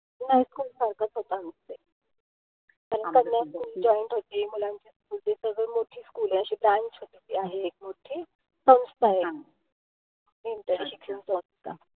नाई खूप आमचे. कन्या school joint होती. मुलांची म्हणजे सगळी मोठी school ए. अशी branch होती ती आहे एक मोठी. शिक्षण संस्था,